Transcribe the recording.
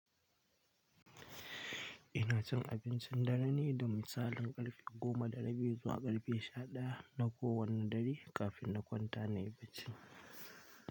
Ina cin abincin dare ne da misalin ƙarfe goma da rabi zuwa ƙarfe sha ɗaya na kowani dare kafin na kwanta nayi bacci.